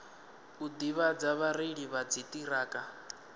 u ḓivhadza vhareili vha dziṱhirakha